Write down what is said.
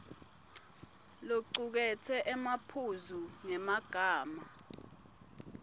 locuketse emaphuzu ngemagama